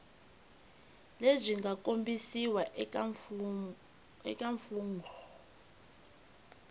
lebyi nga kombisiwa eka mfungho